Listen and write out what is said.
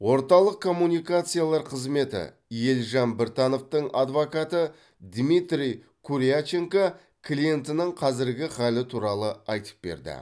орталық коммуникациялар қызметі елжан біртановтың адвокаты дмитрий куряченко клиентінің қазіргі халі туралы айтып берді